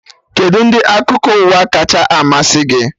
Kedụ ndị akụkọ ụwa kacha amasị gị?